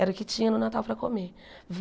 Era o que tinha no Natal para comer.